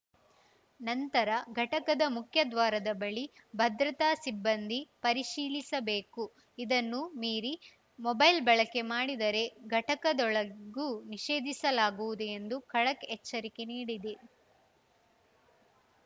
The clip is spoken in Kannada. ನಂತರ ಘಟಕದ ಮುಖ್ಯದ್ವಾರದ ಬಳಿ ಭದ್ರತಾ ಸಿಬ್ಬಂದಿ ಪರಿಶೀಲಿಸಬೇಕು ಇದನ್ನು ಮೀರಿ ಮೊಬೈಲ್‌ ಬಳಕೆ ಮಾಡಿದರೆ ಘಟಕದೊಳಗೂ ನಿಷೇಧಿಸಲಾಗುವುದು ಎಂದು ಖಡಕ್‌ ಎಚ್ಚರಿಕೆ ನೀಡಿದೆ